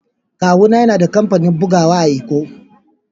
Kawu na yana da kampanin bugowa a'lkko.